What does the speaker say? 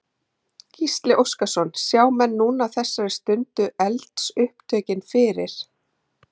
Gísli Óskarsson: Sjá menn núna á þessari stundu eldsupptökin fyrir?